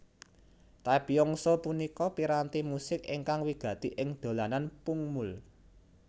Taepyeongso punika piranti musik ingkang wigati ing dolanan pungmul